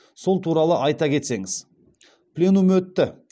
сол туралы айта кетсеңіз пленум өтті